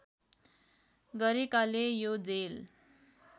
गरेकाले यो जेल